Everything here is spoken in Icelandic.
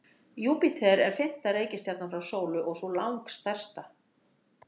Júpíter er fimmta reikistjarnan frá sólu og sú langstærsta.